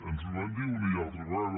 ens ho van dir una i altra vegada